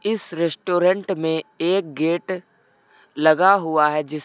इस रेस्टोरेंट में एक गेट लगा हुआ है जिस--